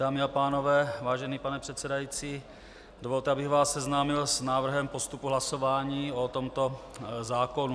Dámy a pánové, vážený pane předsedající, dovolte, abych vás seznámil s návrhem postupu hlasování o tomto zákonu.